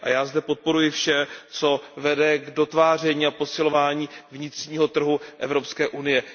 A já zde podporuji vše, co vede k dotváření a posilování vnitřního trhu Evropské unie.